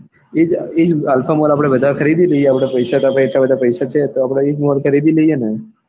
એજ એ alpha mall આપડે બધા ખરીદી લઈએ અપડે તાર પાસે એટલા પૈસા છે તો mall ખરીદી લઈએ.